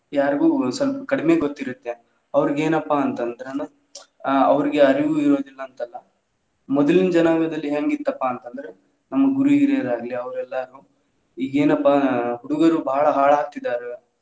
ಯಾರ್ಗು ಸ್ವಲ್ಪ ಕಡಿಮಿ ಗೊತ್ತ್ ಇರುತ್ತೆ ಅವ್ರಿಗ್ ಏನಪ್ಪಾ ಅಂತ ಅಂದ್ರ ನಾನು ಅವ್ರಿಗ್ ಅರಿವು ಇರೋದಿಲ್ಲಾ ಅಂತ ಅಲ್ಲಾ ಮೊದಲಿನ ಜನಾಂಗದಲ್ಲಿ ಹೆಂಗ್ ಇತ್ತಪ್ಪಾ ಅಂತ ಅಂದ್ರೆ ನಮ್ಮ ಗುರು ಹಿರಿಯರ ಆಗ್ಲಿ ಅವ್ರ ಎಲ್ಲಾ ಈಗೇನಪ್ಪಾ ಹುಡುಗುರ್ ಬಾಳ ಹಾಳ ಆಗತಿದಾರ.